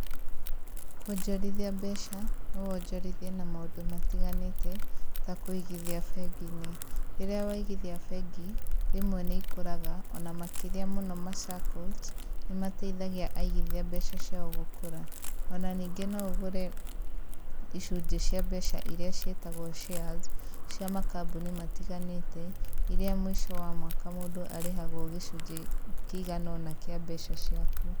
Kwonjorithia mbeca, no wonjorithie na maũndũ matiganĩte ta kũigithia bengi-inĩ. Rĩrĩa waigithia bengi, rĩmwe ni ikũraga, o na makĩria mũno ma saccos nĩ mateithagia aigithia mbeca ciao gũkũra.O na ningĩ no ũgũre icunjĩ cia mbeca iria ciĩtagwo shares cia makambũni matiganĩte iria mũico wa mwaka mũndũ arĩhagwo gĩcunjĩ kĩigana ũna kĩa mbeca ciaku.